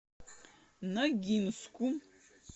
ногинску